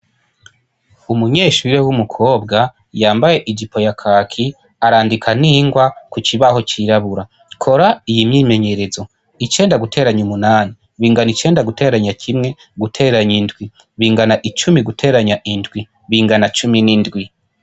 Umunyeshuri we w'umukobwa yambaye ija i poya kaki arandika ningwa ku cibaho cirabura kora iyi myimenyerezo icenda guteranya umunani bingana icenda guteranya kimwe guteranya indwi bingana icumi guteranya indwi bingana cumi n'indwi.